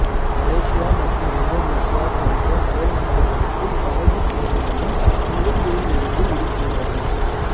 Malaysia மற்றும் Indonesia போன்ற அயல்நாடுகளுக்கு படகுச்சேவைகளும் சிங்கப்பூரிலிருந்து இருக்கின்றன